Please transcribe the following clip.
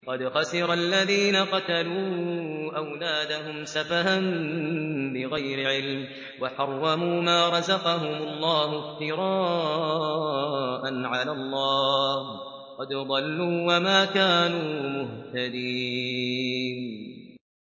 قَدْ خَسِرَ الَّذِينَ قَتَلُوا أَوْلَادَهُمْ سَفَهًا بِغَيْرِ عِلْمٍ وَحَرَّمُوا مَا رَزَقَهُمُ اللَّهُ افْتِرَاءً عَلَى اللَّهِ ۚ قَدْ ضَلُّوا وَمَا كَانُوا مُهْتَدِينَ